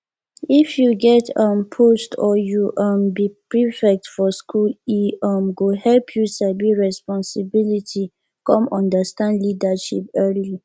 if u get um post or u um be prefect for school e um go help you sabi responsibility come understand leadership early